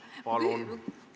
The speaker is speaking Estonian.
Palun!